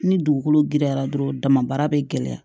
Ni dugukolo giriyara dɔrɔn dama bɛ gɛlɛya